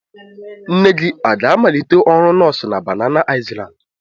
Nne gị aga-amalite ọrụ nọọsụ na Banana Island?